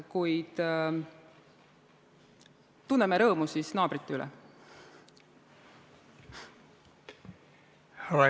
Kuid tunneme siis naabrite üle rõõmu!